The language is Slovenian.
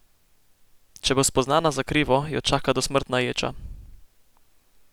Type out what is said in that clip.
Če bo spoznana za krivo, jo čaka dosmrtna ječa.